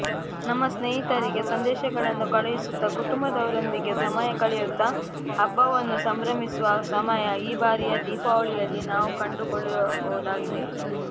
ನಮ್ಮ ಸ್ನೇಹಿತರಿಗೆ ಸಂದೇಶಗಳನ್ನು ಕಳುಹಿಸುತ್ತಾ ಕುಟುಂಬದವರೊಂದಿಗೆ ಸಮಯ ಕಳೆಯುತ್ತಾ ಹಬ್ಬವನ್ನು ಸಂಭ್ರಮಿಸುವ ಸಮಯ ಈ ಬಾರಿಯ ದೀಪಾವಳಿಯಲ್ಲಿ ನಾವು ಕಂಡುಕೊಳ್ಳಬಹುದಾಗಿದೆ